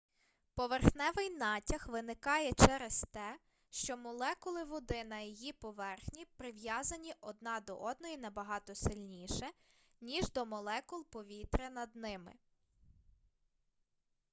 поверхневий натяг виникає через те що молекули води на її поверхні прив'язані одна до одної набагато сильніше ніж до молекул повітря над ними